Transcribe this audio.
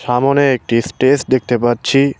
সামোনে একটি স্টেজ দেখতে পাচ্ছি।